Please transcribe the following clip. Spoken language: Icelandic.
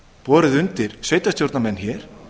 borið undir sveitarstjórnarmenn hér